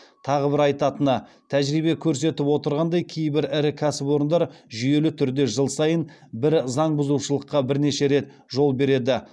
тағы бір айтатыны тәжірибе көрсетіп отырғандай кейбір ірі кәсіпорындар жүйелі түрде жыл сайын бір заң бұзышулыққа бірнеше рет жол береді